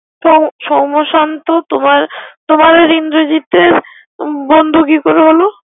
তাই সোম্যশান্ত তোমার তোমার আর ইন্দ্রজিতের বন্ধু কি করে হলো।